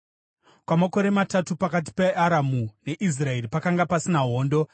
Kwamakore matatu pakati peAramu neIsraeri pakanga pasina hondo.